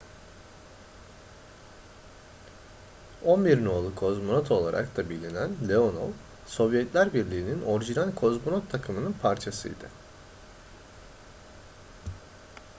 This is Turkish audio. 11 no.'lu kozmonot olarak da bilinen leonov sovyetler birliğinin orijinal kozmonot takımının parçasıydı